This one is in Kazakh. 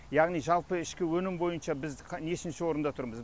яғни жалпы ішкі өнім бойынша біз нешінші орында тұрмыз